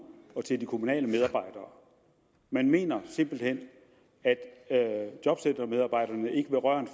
og til de kommunale medarbejdere man mener simpelt hen at jobcentermedarbejderne ikke vil røre